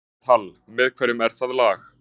Elísabet Hall: Með hverjum er það lag?